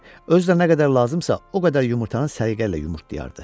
Özü də nə qədər lazımsa, o qədər yumurtanın səliqə ilə yumurtlayardı.